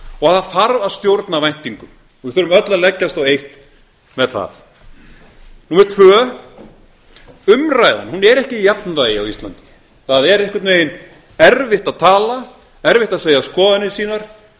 og að það þarf að stjórna væntingum við þurfum öll að leggjast á eitt með það númer tvö umræðan hún er ekki í jafnvægi á íslandi það er einhvern veginn erfitt að tala erfitt að segja skoðanir sínar